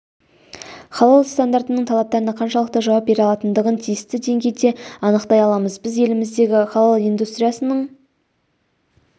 халал стандартының талаптарына қаншалықты жауап бере алатындығын тиісті деңгейде анықтай аламыз біз еліміздегі халал индустриясының